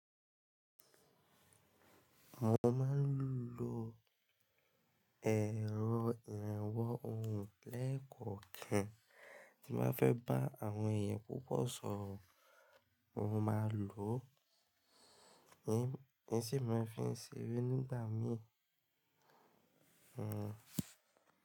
Mo máa ń lo ẹ̀rọ ìrànwọ́ ohùn lẹ́ẹ̀kọ̀ọ́ kan tí màá fẹ́ bá àwọn èèyàn púpọ̀ sọ̀rọ̀. Mo máa lò ó, ní sì máa fi ń ṣeré nígbà míì. Hmm.